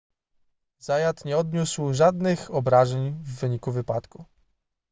zayat nie odniósł żadnych obrażeń w wyniku wypadku